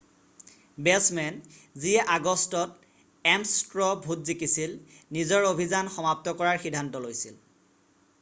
batsman যিয়ে আগষ্টত এমছ্ ষ্ট্ৰ ভোট জিকিছিল নিজৰ অভিযান সমাপ্ত কৰাৰ সিদ্ধান্ত লৈছিল